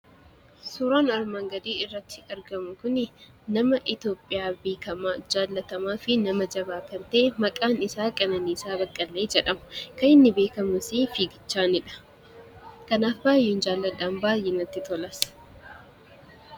Suuraan armaan gadii irratti argamu kuni, nama Itoophiyaa beekamaa, jaallatamaafi nama jabaa kan ta'e maqaan isaa Qanaaniisaa Baqqalee jedhama. Kan inni beekames fiigichaanidha. Kanaaf baay'een jaaladha, baay'ee natti tolas.